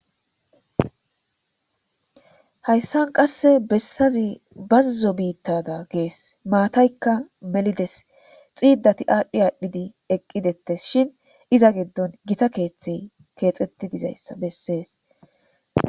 Hayisa qase bitaza bazo bitada gees matayikka melidees xidat adhi adhi eqi detesishin iza giddoni gita keeththey keeththet dizayisa besees